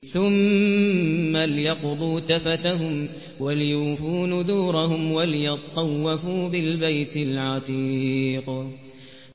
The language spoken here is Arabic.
ثُمَّ لْيَقْضُوا تَفَثَهُمْ وَلْيُوفُوا نُذُورَهُمْ وَلْيَطَّوَّفُوا بِالْبَيْتِ الْعَتِيقِ